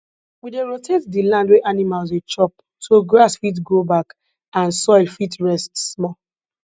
we dey rotate di land wey animals dey chop so grass fit grow back and soil fit rest small